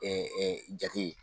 jate.